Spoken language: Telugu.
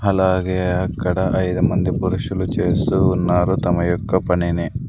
అలాగే అక్కడ ఐదు మంది పురుషులు చేస్తూ ఉన్నారు తమ యొక్క పనిని.